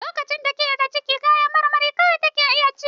Lokacin da take da ciki kayan marmari kawai take iya ci.